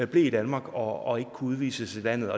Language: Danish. blev i danmark og ikke kunne udvises af landet